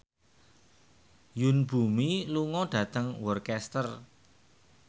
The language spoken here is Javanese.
Yoon Bomi lunga dhateng Worcester